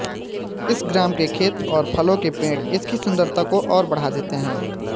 इस ग्राम के खेत और फलों के पेड़ इसकी सुंदरता को और बढा़ देते हैं